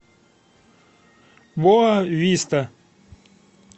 боа виста